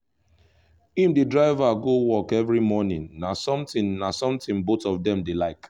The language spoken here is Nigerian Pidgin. him dey drive her go work every morning na something na something both of them dey like